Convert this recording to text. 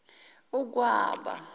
ukwaba